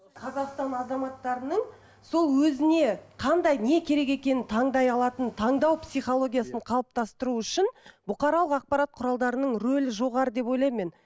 қазақстан азаматтарының сол өзіне қандай не керек екенін таңдай алатын таңдау психологиясын қалыптастыру үшін бұқаралық ақпарат құралдарының рөлі жоғары деп ойлаймын мен